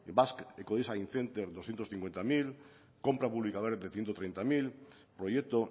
ecodesign center doscientos cincuenta mil compra de ciento treinta mil proyecto